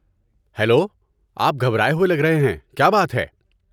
Hello, آپ گھبرائے ہوئے لگ رہے ہیں، کیا بات ہے؟